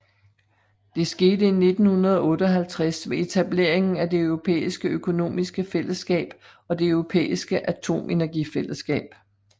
Det skete i 1958 ved etableringen af Det Europæiske Økonomiske Fællesskab og Det Europæiske Atomenergifællesskab